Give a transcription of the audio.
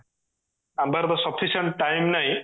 ଆମ ପାଖରେ ବି sufficient time ନାହିଁ